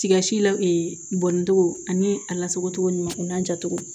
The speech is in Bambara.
Tigasi la bɔn ni togo ani a lasogo ɲuman jacogo